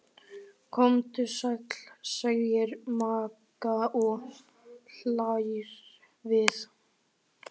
Komdu sæl, segir Magga og hlær við.